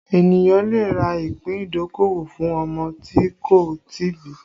Ènìyàn lè rà ìpín ìdókòwò fún ọmọ tí kò tí ì bí